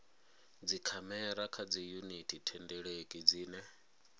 dzikhamera kha dziyuniti thendeleki dzine